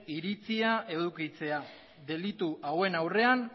iritzia edukitzea delitu hauen aurrean